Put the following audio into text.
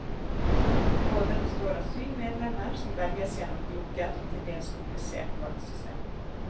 Rådet består av syv medlemmer, som velges gjennom et lukket og til dels komplisert valgsystem.